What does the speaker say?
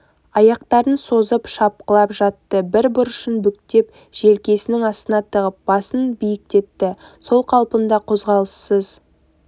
аяқтарын созып шалқалап жатты бір бұрышын бүктеп желкесінің астына тығып басын биіктетті сол қалпында қозғалыссыз